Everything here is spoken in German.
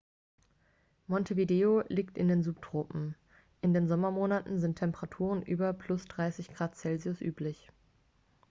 montevideo liegt in den subtropen. in den sommermonaten sind temperaturen über +30 °c üblich